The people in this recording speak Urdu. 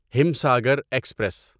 ہمساگر ایکسپریس